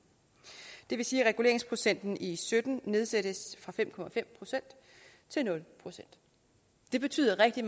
det vil sige at reguleringsprocenten i sytten nedsættes fra fem procent til nul procent det betyder rigtig